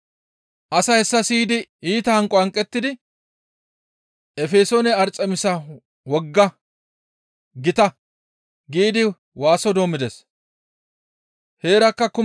Asay hessa siyidi iita hanqo hanqettidi, «Efesoone Arxemisa wogga gita!» giidi waaso doommides. Arxemiso geetettiza Efesoone eeqa xoos